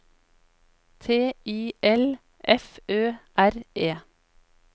T I L F Ø R E